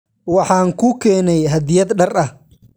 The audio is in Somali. Waxaan kuu keenay hadyad dhar ah.